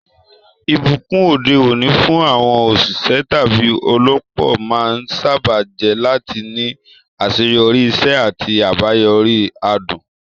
Ìbùkún òde òní fún àwọn òṣìṣẹ́ tàbí olópò máa ń sáábà jẹ́ láti ní àṣeyọrí, iṣẹ́ àti àbáyọrí adùn.